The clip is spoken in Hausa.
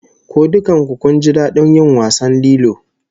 Ko dukkan ku kun ji dadin yin wasan lilo?